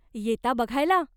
येता बघायला ?